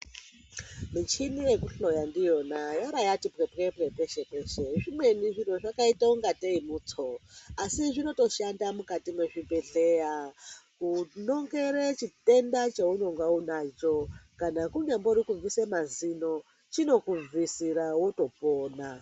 Michini yekuhloya ndiyona yaara yati pwepwepwe peshe-peshe. Zvimweni zviro zvakaita ungatei mutso, asi zvinotoshanda mukati mwezvibhedhleya kunongere chitenda chounonga unacho. Kana kunyambori kubvise mazino, chinokubvisira, wotopona.